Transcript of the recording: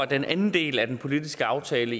den anden del af den politiske aftale